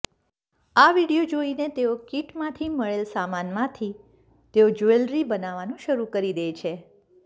આ વિડીયો જોઈને તેઓ કીટમાંથી મળેલ સામાનમાંથી તેઓ જ્વેલરી બનાવવાનું શરૂ કરી દે છે